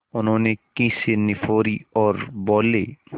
उन्होंने खीसें निपोरीं और बोले